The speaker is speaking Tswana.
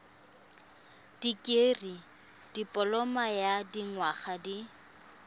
dikirii dipoloma ya dinyaga di